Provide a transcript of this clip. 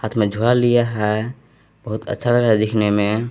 हाथ में झोला लिया है बहुत अच्छा लग रहा है देखने में।